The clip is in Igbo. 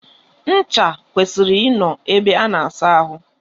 Ncha kwesịrị I nọ ebe a na asa ahụ.